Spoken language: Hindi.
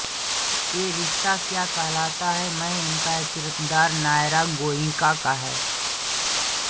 ये रिश्ता क्या कहलाता है में इनका किरदार नायरा गोइंका का है